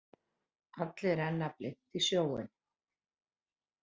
Allir renna blint í sjóinn.